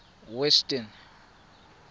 western